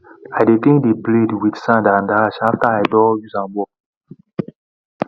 i dey clean the blade with sand and ash after i doh use am work